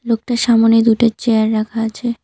লোকটার সামোনে দুটো চেয়ার রাখা আছে।